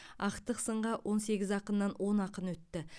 ақтық сынға он сегіз ақыннан он ақын өтті